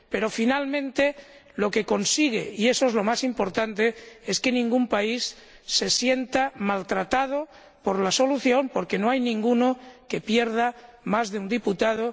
Pero, finalmente, lo que consigue —y eso es lo más importante— es que ningún país se sienta maltratado por la solución, porque no hay ninguno que pierda más de un diputado.